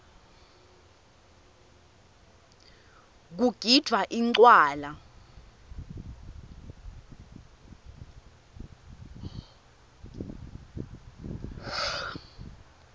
kugidvwa incwala